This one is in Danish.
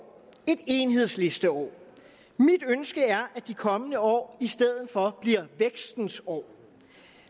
et enhedslisteår mit ønske er at de kommende år i stedet for bliver vækstens år